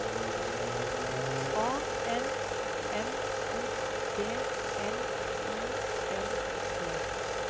A N M O D N I N G